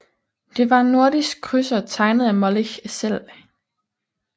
Det var en nordisk krydser tegnet af Molich selv